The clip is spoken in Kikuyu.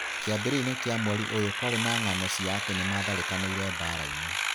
Kĩambĩrĩria-inĩ kĩa mweri ũyũ kwarĩ na ng'ano cia atĩ nĩ maatharĩkanĩire baraĩnĩ.